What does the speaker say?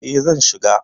E, zan shiga.